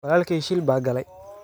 Walaalkey shil baa galay.